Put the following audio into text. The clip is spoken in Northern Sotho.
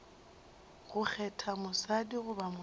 go kgetha mosadi goba monna